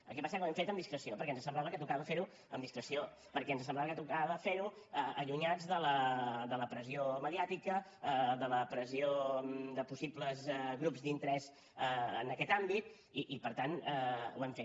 el que passa que ho hem fet amb discreció perquè ens semblava que tocava fer ho amb discreció perquè ens semblava que tocava fer ho allunyats de la pressió mediàtica de la pressió de possibles grups d’interès en aquest àmbit i per tant ho hem fet